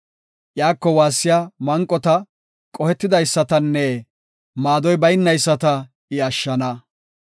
Iyako waassiya manqota, qohetidaysatanne maadoy baynayisata I ashshana.